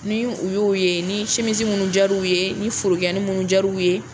Ni u y'e ye ,ni simisi minnu diyar'u ye ni furukiyanin minnu diyar'u ye.